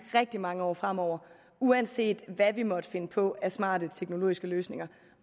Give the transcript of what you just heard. rigtig mange år fremover uanset hvad vi måtte finde på af smarte teknologiske løsninger